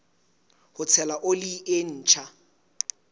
ho tshela oli e ntjha